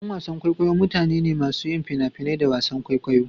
Ƴan wasan kwaikwayo mutane ne masu yin fina-finai da wasan kwaikwayo.